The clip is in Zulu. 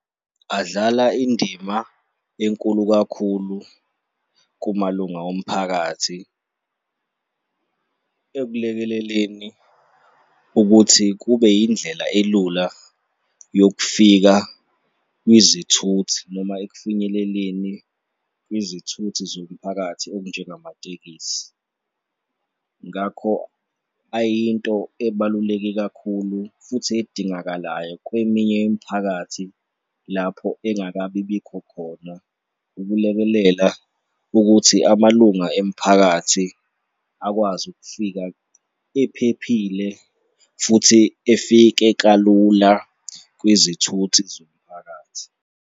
Adlala indima enkulu kakhulu kumalunga omphakathi ekulekeleleni ukuthi kube indlela elula yokufika kwizithuthi noma ekufinyeleleni kwizithuthi zomphakathi okunjengamatekisi. Ngakho ayinto ebaluleke kakhulu futhi edingakalayo kweminye imiphakathi lapho engakabi bikho khona ukulekelela ukuthi amalunga emphakathi akwazi ukufika ephephile futhi efike kalula kwizithuthi zomphakathi.